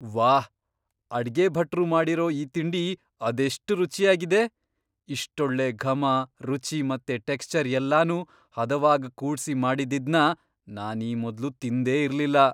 ವಾಹ್! ಅಡ್ಗೆ ಭಟ್ರು ಮಾಡಿರೋ ಈ ತಿಂಡಿ ಅದೆಷ್ಟ್ ರುಚ್ಯಾಗಿದೆ! ಇಷ್ಟೊಳ್ಳೆ ಘಮ, ರುಚಿ ಮತ್ತೆ ಟೆಕ್ಷ್ಚರ್ ಎಲ್ಲನೂ ಹದವಾಗ್ ಕೂಡ್ಸಿ ಮಾಡಿದ್ದಿದ್ನ ನಾನ್ ಈ ಮೊದ್ಲು ತಿಂದೇ ಇರ್ಲಿಲ್ಲ.